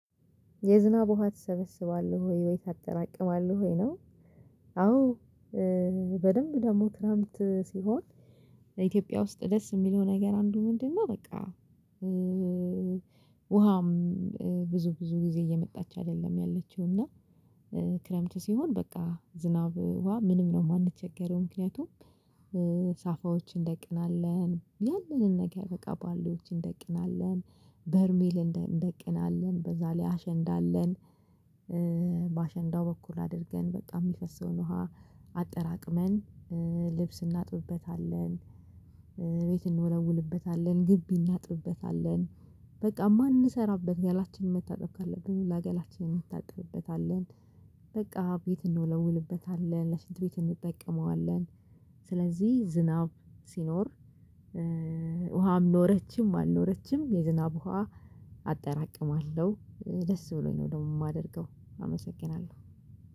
የዝናብ ውሃ ትሰበስባለህ ወይ ታጠራቅማለህ ወይ ነው? አዎ! እ-በደንብ ደግሞ ክረምት ሲሆን ኢትዮጵያ ውስጥ ደስ የሚለው ነገር አንዱ ምንድነው? በቃ! እም- ውሃም እም- ብዙ፣ ብዙ ጊዜ እየመጣች አይደለም ያለችው እና እ ክረምት ሲሆን በቃ! ዝናብ ውሃ ምንም ነው የማንቸገረው፤ ምክንያቱም ሳፋዎች እንደናለን፣ ያንንን ነገር በቃ ባልዲዎች እንደቅናለን፣ በርሜል እንደቅናለን በዛ ላይ አሸንዳለን አለን። እ በአሸንዳው በኩል አድርገን በጣም የሚፈሰውን ውሃ አጠራቅመን፣ እ ልብስ እናጥብበታለን፣ ቤት እንወለውልበታለን፣ ግቢ እናጥብበታለን። በቃ! ማንሰራበት፣ ገላችንን መታጠብ ካለብን፣ ለአገላችንን መታጠብበታለን። በቃ! ቤት እንወለውልበታለን፣ ለሽንት ቤት እንጠቀመዋለን። ስለዚህ፣ ዝናብ ሲኖር፣ ውሃም ኖረችም፣ አልኖረችም የዝናብ ውሃ አጠራቅማለሁ። ደስ ብሎኝ ነው ደግሞ የማደርገው። አመሰግናለሁ።